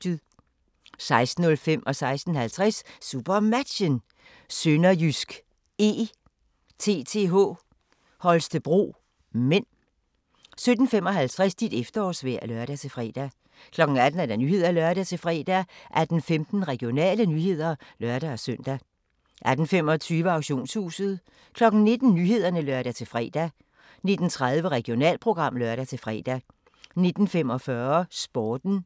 16:05: SuperMatchen: SønderjyskE-TTH Holstebro (m) 16:50: SuperMatchen: SønderjyskE-TTH Holstebro (m) 17:55: Dit efterårsvejr (lør-fre) 18:00: Nyhederne (lør-fre) 18:15: Regionale nyheder (lør-søn) 18:25: Auktionshuset 19:00: Nyhederne (lør-fre) 19:30: Regionalprogram (lør-fre) 19:45: Sporten 20:00: Klipfiskerne